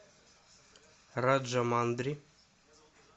раджамандри